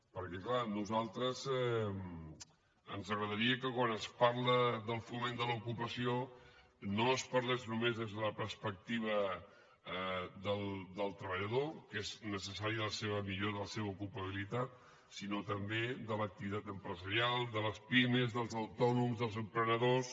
perquè clar a nosaltres ens agradaria que quan es parla del foment de l’ocupació no es parlés només des de la perspectiva del treballador que és necessària la seva millora de la seva ocupabilitat sinó també de l’activitat empresarial de les pimes dels autònoms dels emprenedors